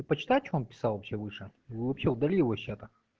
ты почитай что он писал вообще выше его вообще удали его из чата